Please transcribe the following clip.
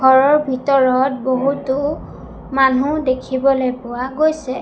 ঘৰৰ ভিতৰত বহুতো মানু্হ দেখিবলৈ পোৱা গৈছে।